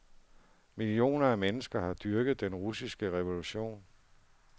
Millioner af mennesker har dyrket den russiske revolution.